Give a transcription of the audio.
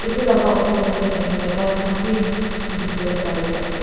etu laka osor kan dae saishae kuilae kas kan bi tiki volae bari ase.